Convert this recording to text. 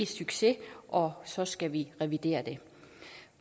succes og så skal vi revidere den